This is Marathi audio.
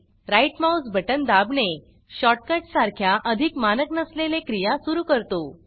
राइट माउस बटन दाबणे शॉर्टकट सारख्या अधिक मानक नसलेले क्रिया सुरू करतो